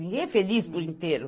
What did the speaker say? Ninguém é feliz por inteiro.